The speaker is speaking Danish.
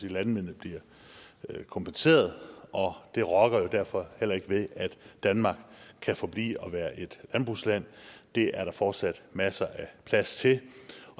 at landmændene bliver kompenseret og det rokker jo derfor heller ikke ved at danmark kan forblive med at være et landbrugsland det er der fortsat masser af plads til